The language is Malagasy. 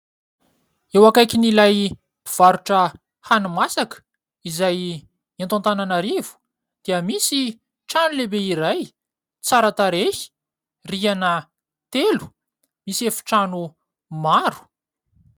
Eo akaikin'ilay mpivarotra hani-masaka izay eto Antananarivo dia misy trano lehibe iray tsara tarehy, rihana telo misy efitrano maro.